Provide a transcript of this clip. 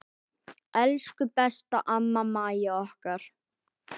Elsku besta amma Mæja okkar.